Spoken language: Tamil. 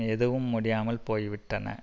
எதுவும் முடியாமல் போய்விட்டன